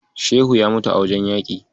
Shehu ya mutu a wajen yaƙi.